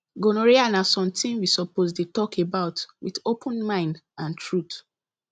gonorrhea na something we suppose dey talk about with open mind and truth